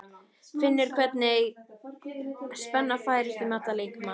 Finnur hvernig spenna færist um allan líkamann.